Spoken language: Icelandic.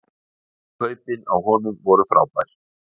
Kaupin á honum voru frábær